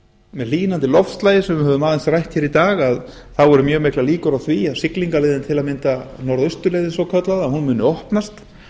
með hlýnandi loftslagi sem við höfum aðeins rætt hér í dag eru mjög miklar líkur á því að siglingaleiðin til að mynda norðausturleiðin svokallaða muni opnast